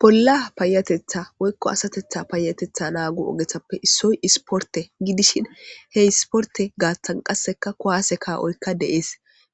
bolla payatetha woykko asatetha paayatetha naagu ogethappe issoy isporte gidishin he isporte gaattan qasseka kuwaase kaawoykka deees